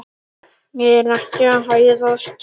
Ég er ekki að hæðast.